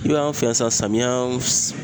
I b'a ye anw fɛ yan sisan, samiya